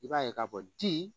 I b'a ye k'a fɔ di